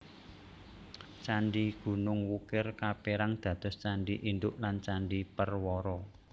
Candhi Gunung Wukir kaperang dados candhi induk lan candhi perwara